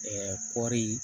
kɔri